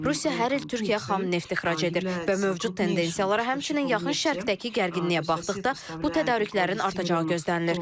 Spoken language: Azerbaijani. Rusiya hər il Türkiyəyə xam neft ixrac edir və mövcud tendensiyalara, həmçinin Yaxın Şərqdəki gərginliyə baxdıqda bu tədarüklərin artacağı gözlənilir.